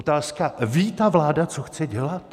Otázka: Ví ta vláda, co chce dělat?